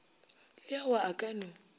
le ao a ka no